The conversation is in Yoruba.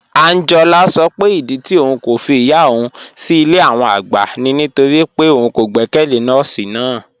Ànjọ́lá sọ pé ìdí tì ọ̀un kò fí ìyá ọ̀un sí ilẹ̀ àwọn ọ̀gbá ni nítorí pé ọ̀un kò gbẹkẹlé nọọ̀sí náà